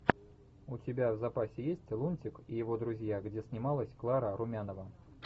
у тебя в запасе есть лунтик и его друзья где снималась клара румянова